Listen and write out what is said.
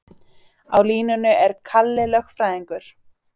Á línunni er Kalli lögfræðingur.